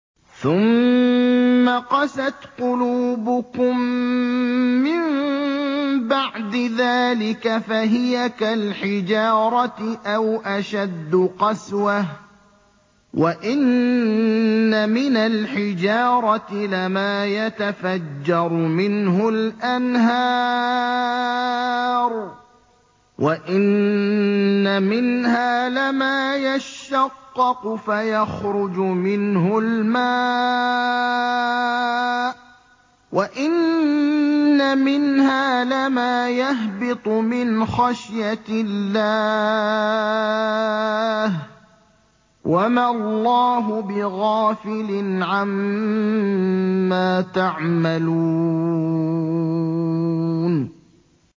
ثُمَّ قَسَتْ قُلُوبُكُم مِّن بَعْدِ ذَٰلِكَ فَهِيَ كَالْحِجَارَةِ أَوْ أَشَدُّ قَسْوَةً ۚ وَإِنَّ مِنَ الْحِجَارَةِ لَمَا يَتَفَجَّرُ مِنْهُ الْأَنْهَارُ ۚ وَإِنَّ مِنْهَا لَمَا يَشَّقَّقُ فَيَخْرُجُ مِنْهُ الْمَاءُ ۚ وَإِنَّ مِنْهَا لَمَا يَهْبِطُ مِنْ خَشْيَةِ اللَّهِ ۗ وَمَا اللَّهُ بِغَافِلٍ عَمَّا تَعْمَلُونَ